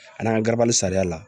An n'an ka gabali sariya la